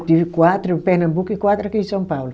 Eu tive quatro em Pernambuco e quatro aqui em São Paulo.